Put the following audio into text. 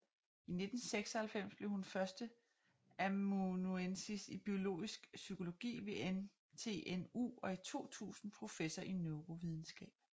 I 1996 blev hun førsteamanuensis i biologisk psykologi ved NTNU og i 2000 professor i neurovidenskab